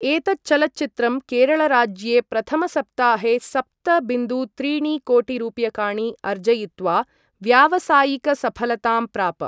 एतत् चलच्चित्रं केरळराज्ये प्रथमसप्ताहे सप्त बिन्दु त्रीणि कोटिरूप्यकाणि अर्जयित्वा व्यावसायिकसफलतां प्राप।